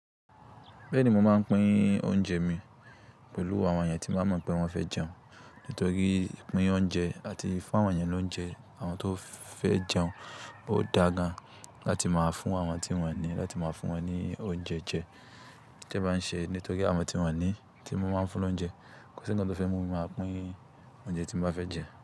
Bẹ́ẹ̀ ni mo máa ń pín oúnjẹ mi pẹ̀lú àwọn èèyàn tí baa mọ̀ pé wọ́n fẹ́ jẹun. Nítorí pín oúnjẹ àti fún àwọn èèyàn lóúnjẹ àwọn tó fẹ́ jẹun, ó da gan láti máa fún àwọn tí wọ́n ní láti máa fún wọn ní oúnjẹ jẹ ti ba ṣe. Nítorí àwọn tí wọ́n ní tí mo máa ń fún lóúnjẹ kò sí ńkan tó fẹ́ mú mi máa pín oúnjẹ tí mo bá fẹ́ jẹ.